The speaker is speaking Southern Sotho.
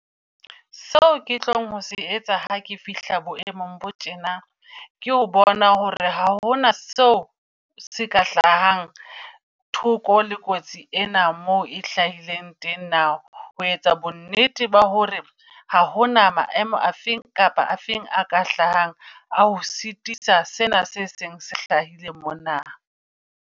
So ke tlong ho se etsa ha ke fihla bo emong bo tjena, ke ho bona hore ha hona seo se ka hlahang thoko le kotsi ena mo e hlahileng teng na. Ho etsa bo nnete ba hore ha hona maemo afeng kapo afeng a ka hlahang a ho sitisa sena se seng se hlahileng mona.